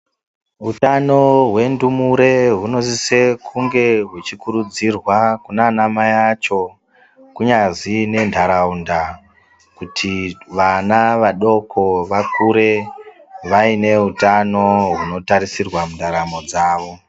Utano hwendumure hunosise kunge huchikurudzirwa kunana mai acho, kunyazi nentaraunda kuti vana vadoko vakure vaine utano hunotarisirwa mundaramo dzavo.